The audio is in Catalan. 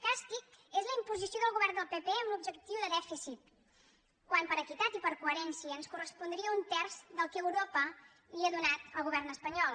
càstig és la imposició del govern del pp amb l’objec·tiu de dèficit quan per equitat i per coherència ens correspondria un terç del que europa li ha donat al govern espanyol